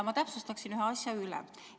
Ma täpsustaksin ühe asja üle.